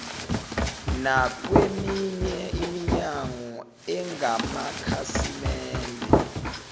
nakweminye iminyango engamakhasimende